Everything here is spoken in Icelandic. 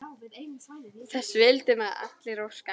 Þess vildum við allir óska.